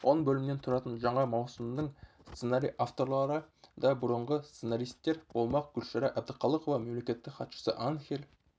он бөлімнен тұратын жаңа маусымның сценарий авторлары да бұрынғы сценаристер болмақ гүлшара әбдіқалықова мемлекеттік хатшысы анхель